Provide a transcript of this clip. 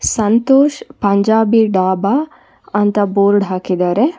ಸಂತೋಷ್ ಪಂಜಾಬಿ ಡಾಬಾ ಅಂತ ಬೋರ್ಡ್ ಹಾಕಿದ್ದಾರೆ.